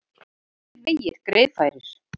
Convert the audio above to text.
Flestir vegir greiðfærir